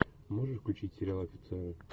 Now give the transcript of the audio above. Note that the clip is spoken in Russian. можешь включить сериал офицеры